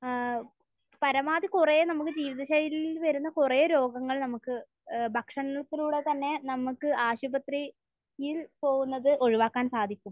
ഏഹ്. പരമാവധി കുറേ നമുക്ക് ജീവിതശൈലിയിൽ നിന്ന് വരുന്ന കുറേ രോഗങ്ങൾ നമുക്ക് ഏഹ് ഭക്ഷണത്തിലൂടെ തന്നെ നമുക്ക് ആശുപത്രിയിൽ പോകുന്നത് ഒഴിവാക്കാൻ സാധിക്കും.